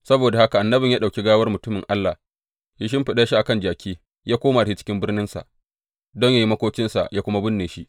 Saboda haka annabin ya ɗauki gawar mutumin Allah, ya shimfiɗa shi a kan jaki, ya koma da shi cikin birninsa don yă yi makokinsa yă kuma binne shi.